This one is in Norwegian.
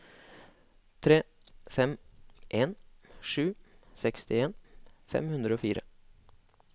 tre fem en sju sekstien fem hundre og fire